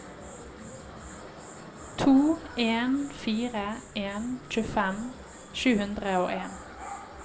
to en fire en tjuefem sju hundre og en